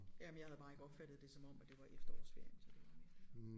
Jamen jeg havde bare ikke opfattet det som om at det var efterårsferien så det var mere det